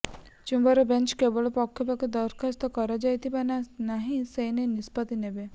chamber bench କେବଳ ପକ୍ଷଭକ୍ତଙ୍କ ଦରଖାସ୍ତ ଗ୍ରହଣ କରାଯିବ ନା ନାହିଁ ସେନେଇ ନିଷ୍ପତ୍ତି ନେବେ